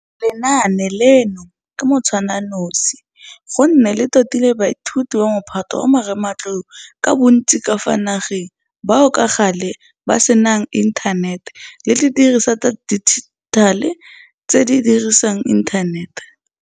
Lenaane leno ke motshwananosi gonne le totile baithuti ba Mophato wa bo 12 ka bontsi ka fa nageng bao ka gale ba senanginthanete le didirisiwa tsa dijithale tse di dirisang inthanete.